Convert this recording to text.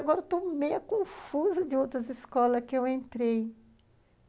Agora eu estou meio confusa de outras escolas que eu entrei.